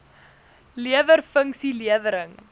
lewer funksie lewering